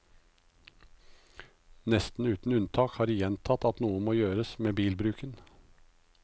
Nesten uten unntak har de gjentatt at noe må gjøres med bilbruken.